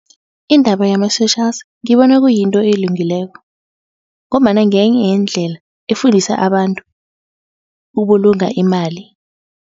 Indaba yama-socials ngibona kuyinto elungileko ngombana ngenye yeendlela efundisa abantu ukubulunga imali.